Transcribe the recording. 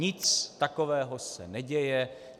Nic takového se neděje.